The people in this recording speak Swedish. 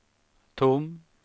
tom